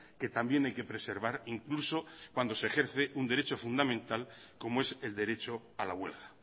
que también hay que preservar incluso cuando se ejerce un derecho fundamental como es el derecho a la huelga